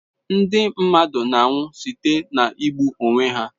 Ndị mmadụ na-anwụ site na igbu onwe ha.